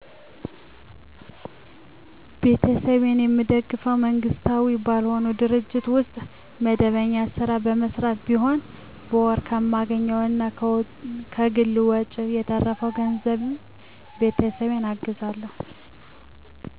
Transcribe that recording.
ቤተሰቤን የምደግፈው መንግስታዊ ባልሆነ ድርጅት ውስጥ መደበኛ ስራ በመሰራት ሲሆን በወር ከማገኘው እና ከግል ወጨ በተረፈው ገንዘብ ቤተሰቤን አግዛለሁ።